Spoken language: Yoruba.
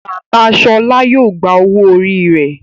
Bàbá Shola yíò gbà owo orí rẹ.